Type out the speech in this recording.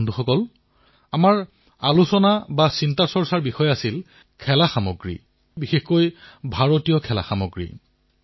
বন্ধুসকল আমাৰ মন্থনৰ বিষয় আছিল খেলা সামগ্ৰী আৰু বিশেষকৈ ভাৰতীয় খেলাসামগ্ৰী